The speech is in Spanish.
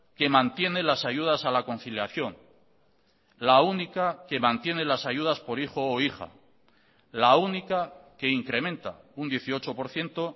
que mantiene las ayudas a la conciliación la única que mantiene las ayudas por hijo o hija la única que incrementa un dieciocho por ciento